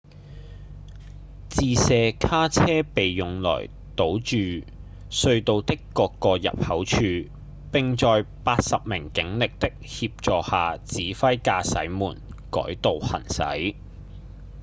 自卸卡車被用來堵住隧道的各個入口處並在80名警力的協助下指揮駕駛們改道行駛